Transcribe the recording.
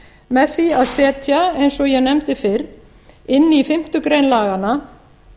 með því að setja eins og ég nefndi fyrr inn í fimmtu grein laganna